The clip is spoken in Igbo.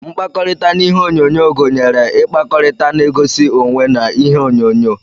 Mkpakọrita na ihe onyonyo gunyere ikpakọrita na egosi onwee na ihe onyo-nyo.